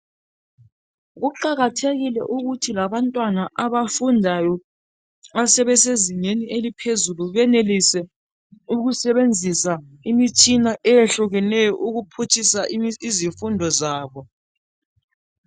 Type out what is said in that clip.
Kuqakathekile ukuthi labantwana abafundayo abasezingeni eliphezulu benelise ukusebenzisa imitshina eyehlukeneyo ukuphutshisa izifundo zabo.